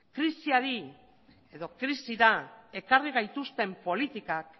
krisiari edo krisira ekarri gaituzten politikak